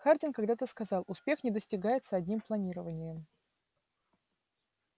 хардин когда-то сказал успех не достигается одним планированием